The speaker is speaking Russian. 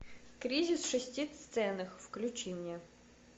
кризис в шести сценах включи мне